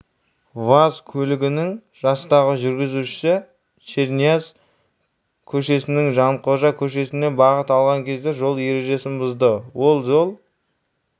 ваз көлігінің жастағы жүргізушісі шернияз көшесінен жанқожа көшесіне бағыт алған кезде жол ережесін бұзды ол жол